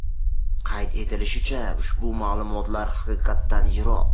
Qayd etilishicha, ushbu ma’lumotlar haqiqatdan yiroq.